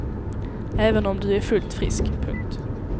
Även om du är fullt frisk. punkt